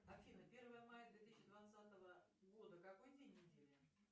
афина первое мая две тысячи двадцатого года какой день недели